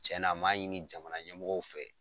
Cɛnna an m'a ɲini jamana ɲɛmɔgɔ fɛ.